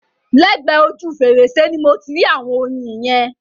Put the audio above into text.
Lẹ́gbẹ ojú fèrèsé ni mo ti rí ạ̀wọn oyin yẹn.